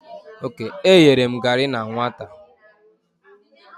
E yere m gari na nwata.